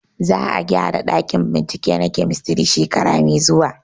Za a gyara ɗakin bincike na kemistri shekara mai zuwa